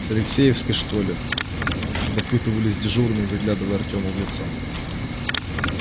с алексеевской что ли допытывались дежурные заглядывая артему в лицо